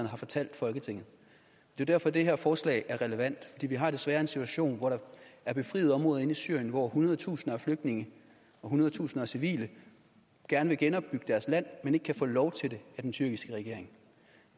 har fortalt folketinget det er derfor det her forslag er relevant for vi har desværre en situation hvor der er befriet områder inde i syrien hvor hundrede tusinder af flygtninge og hundrede tusinder af civile gerne vil genopbygge deres land men ikke kan få lov til det af den tyrkiske regering